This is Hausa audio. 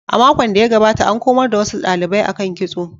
A makon da ya gabata, an komar da wasu dalibai akan kitso.